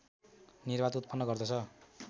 निर्वात उत्पन्न गर्दछ